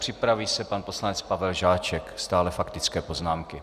Připraví se pan poslanec Pavel Žáček, stále faktické poznámky.